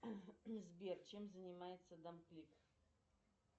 сбер чем занимается дамклик